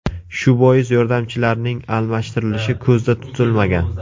Shu bois yordamchilarning almashtirilishi ko‘zda tutilmagan.